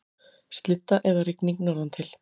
Slydda eða rigning norðantil